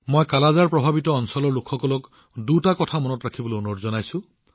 মই কালা আজাৰ প্ৰভাৱিত অঞ্চলৰ লোকসকলক দুটা কথা মনত ৰাখিবলৈ অনুৰোধ জনাইছো